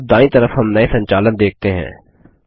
अब दायीं तरफ हम नये संचालन देखते हैं